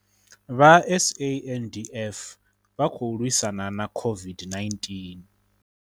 Vha SANDF vha khou lwisana na COVID-19